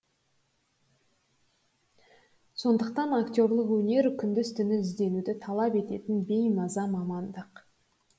сондықтан актерлік өнер күндіз түні ізденуді талап ететін беймаза мамандық